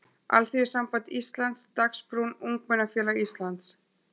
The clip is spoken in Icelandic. Alþýðusamband Íslands, Dagsbrún, Ungmennafélag Íslands.